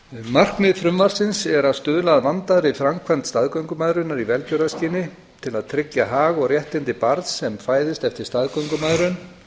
markmið frumvarpsins er að stuðla að vandaðri framkvæmd staðgöngumæðrunar í velgjörðarskyni til að tryggja hag og réttindi barns sem fæðist eftir staðgöngumæðrun